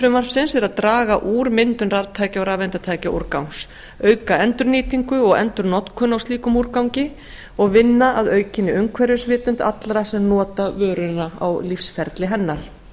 frumvarpsins er að draga úr myndun raftækja og rafeindatækjaúrgangs auka endurnýtingu og endurnotkun á slíkum úrgangi og vinna að aukinni umhverfisvitund allra sem nota vöruna á lífsferli hennar